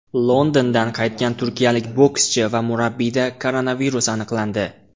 Londondan qaytgan turkiyalik bokschi va murabbiyda koronavirus aniqlandi.